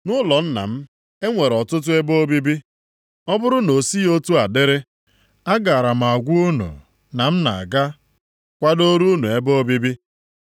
Nʼụlọ Nna m, e nwere ọtụtụ ebe obibi. Ọ bụrụ na o sighị otu a dịrị, agaara m agwa unu na m na-aga kwadoro unu ebe obibi?